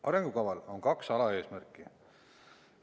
Arengukaval on kaks alaeesmärki.